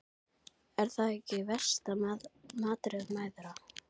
Er það ekki versta martröð mæðra?